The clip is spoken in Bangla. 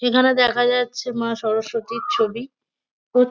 এখানে দেখা যাচ্ছে মা সরস্বতীর ছবি। খুব --